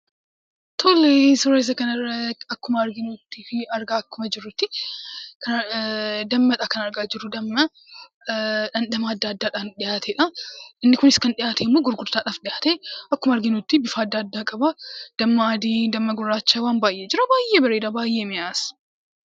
Tole suura kana irraa akkuma argaa jirru dammadha. Innis dhandhama adda addaa kan dhiyaatedha. Innis gurgurtaadhaaf kan dhiyaatedha. Akkuma arginu bifa adda addaa qaba. Damma adii damma gurraacha waan baay'eetu jira. Baay'ee bareeda baay'ees mi'aawa.